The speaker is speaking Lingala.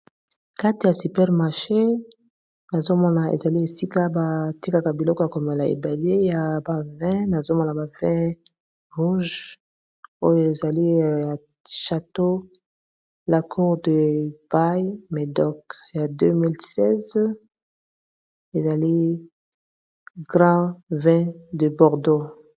Kati ya super maché nazomona ezali esika ba tikaka biloko ya komela ebele ya ba vin nazomona ba vin rouge oyo ezaliya chateau la cour de bai medok ya 2016 ezali grand vin de Bordeaux.